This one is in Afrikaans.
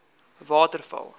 waterval